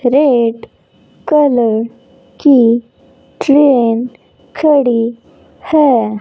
Red colour की train खड़ी है।